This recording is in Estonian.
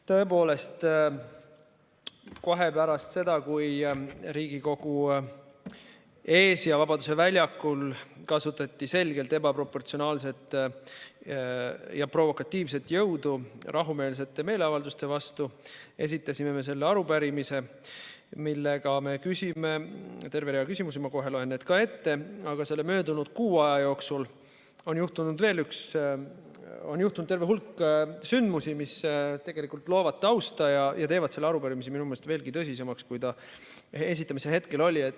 Tõepoolest, kohe pärast seda, kui Riigikogu ees ja Vabaduse väljakul kasutati selgelt ebaproportsionaalset ja provokatiivset jõudu rahumeelsete meeleavalduste vastu, esitasime me selle arupärimise, millega me küsime terve rea küsimusi – ma kohe loen need ka ette –, aga selle möödunud kuu aja jooksul on juhtunud veel terve hulk sündmusi, mis tegelikult loovad tausta ja teevad selle arupärimise minu meelest veelgi tõsisemaks, kui see esitamise hetkel oli.